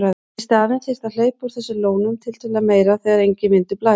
Í staðinn þyrfti að hleypa úr þessum lónum tiltölulega meira þegar enginn vindur blæs.